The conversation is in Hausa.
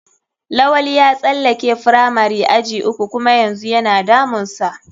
Lawali ya tsalake firamari aji uku kuma yanzu yana damun sa.